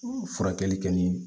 Furakɛli kɛ ni